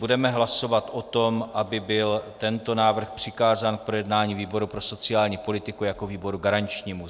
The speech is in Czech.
Budeme hlasovat o tom, aby byl tento návrh přikázán k projednání výboru pro sociální politiku jako výboru garančnímu.